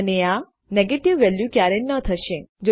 અને આ negative value ક્યારેય ન થશે